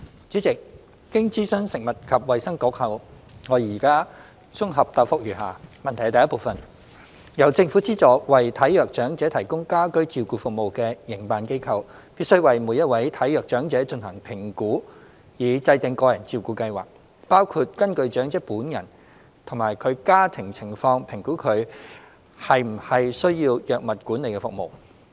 主席，經諮詢食物及衞生局後，我現綜合答覆如下：一由政府資助為體弱長者提供家居照顧服務的營辦機構，必須為每一位體弱長者進行評估以制訂個人照顧計劃，包括根據長者本人及其家庭情況評估他/她是否需要藥物管理服務。